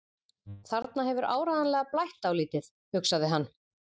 Þarna hefur áreiðanlega blætt dálítið, hugsaði hann.